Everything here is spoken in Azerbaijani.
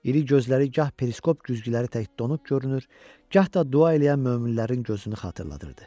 İri gözləri gah periskop güzgüləri tək donuq görünür, gah da dua eləyən möminlərin gözünü xatırladırdı.